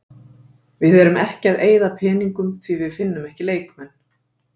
Við erum ekki að eyða peningum því við finnum ekki leikmenn.